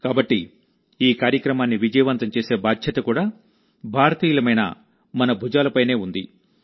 కాబట్టి ఈ కార్యక్రమాన్ని విజయవంతం చేసే బాధ్యత కూడా భారతీయులమైన మన భుజాలపైనే ఉంది